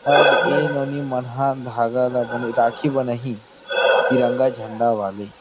अब ए मन नोनी मन ह धांगा ला बने राखी बना ही तिरंगा झंडा वाले।